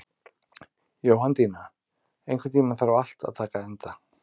Jóhanndína, einhvern tímann þarf allt að taka enda.